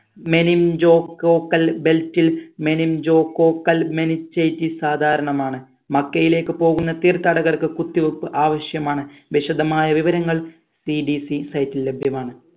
meningococcal belt ൽ meningococcal meningitis സാധാരണമാണ് മക്കയിലേക്ക് പോകുന്ന തീർത്ഥാടകർക്ക് കുത്തിവെപ്പ് ആവശ്യമാണ് വിശദമായ വിവരങ്ങൾ CDCsite ഇൽ ലഭ്യമാണ്